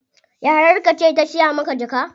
Yayar ka ce ta siya maka jaka?